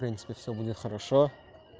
в принципи всё будет хорошо